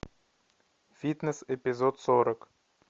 фитнес эпизод сорок